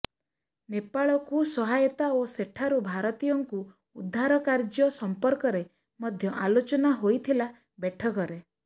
ନେପାଳକୁ ସହାୟତା ଓ ସେଠାରୁ ଭାରତୀୟଙ୍କୁ ଉଦ୍ଧାର କାର୍ଯ୍ୟ ସଂପର୍କରେ ମଧ୍ୟ ଆଲୋଚନା ହୋଇଥିଲା ବୈଠକରେ